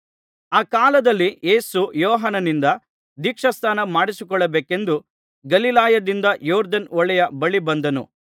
ಆ ಕಾಲದಲ್ಲಿ ಯೇಸು ಯೋಹಾನನಿಂದ ದೀಕ್ಷಾಸ್ನಾನ ಮಾಡಿಸಿಕೊಳ್ಳಬೇಕೆಂದು ಗಲಿಲಾಯದಿಂದ ಯೊರ್ದನ್ ಹೊಳೆಯ ಬಳಿ ಬಂದನು